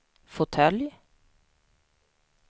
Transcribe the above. fåtölj